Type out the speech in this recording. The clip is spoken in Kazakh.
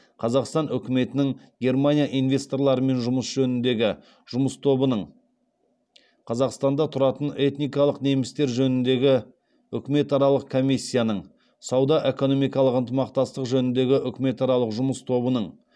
қазақстан үкіметінің германия инвесторларымен жұмыс жөніндегі жұмыс тобының қазақстанда тұратын этникалық немістер жөніндегі үкіметаралық комиссияның сауда экономикалық ынтымақтастық жөніндегі үкіметаралық жұмыс тобының